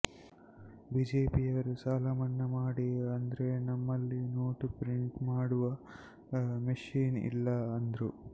ಬಿಜೆಪಿಯವರು ಸಾಲ ಮನ್ನಾ ಮಾಡಿ ಅಂದ್ರೆ ನಮ್ಮಲ್ಲಿ ನೋಟ ಪ್ರಿಂಟ್ ಮಾಡುವ ಮಷಿನ್ ಇಲ್ಲಾ ಅಂದ್ರು